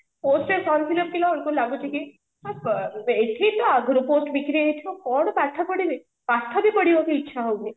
post ରେ form fill up କରିବା କୁ ଲାଗୁଛି କି ଏଠି ତ ଆଗରୁ post ବିକ୍ରି ହେଇ ହେଇଥିବ କଣ ପାଠ ପଢିବି ପାଠ ବି ପଢିବା କୁ ଇଚ୍ଛା ହଉନି